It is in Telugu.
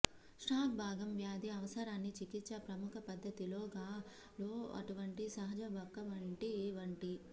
స్టాక్ భాగం వ్యాధి అవసరాన్ని చికిత్స ప్రముఖ పద్ధతిగా లో అటువంటి సహజ బంకమట్టి వంటి